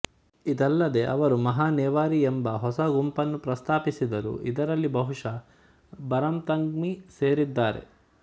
ಇದಲ್ಲದೆ ಅವರು ಮಹಾ ನೆವಾರಿ ಎಂಬ ಹೊಸ ಗುಂಪನ್ನು ಪ್ರಸ್ತಾಪಿಸಿದರು ಇದರಲ್ಲಿ ಬಹುಶಃ ಬರಾಮ್ಥಂಗ್ಮಿ ಸೇರಿದ್ದಾರೆ